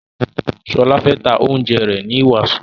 Shola fè tá oúnjẹ rẹ ní waso.